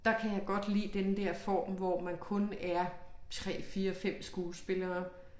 Der kan jeg godt lide den dér form hvor man kun er 3 4 5 skuespillere